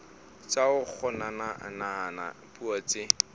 tsa ho kgonahatsa puo tse